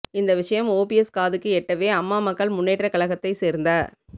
இந்த விஷயம் ஓபிஎஸ் காதுக்கு எட்டவே அம்மா மக்கள் முன்னேற்ற கழகத்தை சேர்ந்த